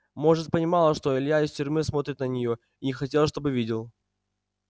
может понимала что илья из тюрьмы смотрит на неё и не хотела чтобы видел